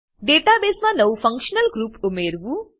data બેસમાં નવું functional group ઉમેરવું